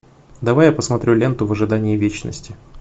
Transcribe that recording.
давай я посмотрю ленту в ожидании вечности